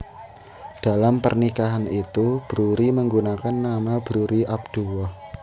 Dalam pernikahan itu Broery menggunakan nama Broery Abdullah